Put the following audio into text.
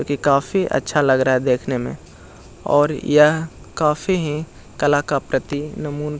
की काफी अच्छा लग रहा है देखने में और यह काफी ही कला का प्रतीक नमून --